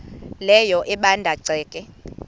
leyo ebanda ceke